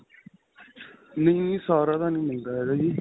ਨਹੀਂ, ਨਹੀਂ ਸਾਰਾ ਤਾਂ ਨਹੀ ਮਿਲਦਾ ਹੈਗਾ ਜੀ .